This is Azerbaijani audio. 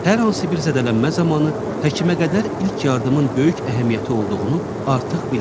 Hər hansı bir zədələnmə zamanı həkimə qədər ilk yardımın böyük əhəmiyyəti olduğunu artıq bilirsiniz.